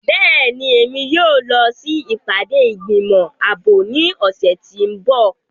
Bẹ́ẹ̀ni, Emi yóò lọ si ipade igbimọ aabo ni ọsẹ ti n bọ.